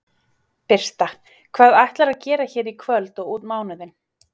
Birta: Hvað ætlarðu að fara gera hér í kvöld og út mánuðinn?